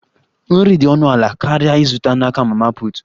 Nri dị ọnụ ala karịa ịzụta n'aka mama put